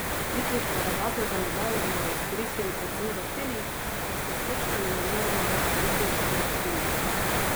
Jutrišnjo regato za medalje bova izkoristili predvsem za trening, ker se s točkami ne moreva več boriti za prva tri mesta.